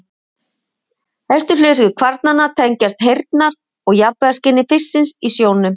Helstu hlutverk kvarnanna tengjast heyrnar- og jafnvægisskyni fisksins í sjónum.